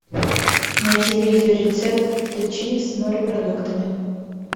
найти видеорецепт фетучини с морепродуктами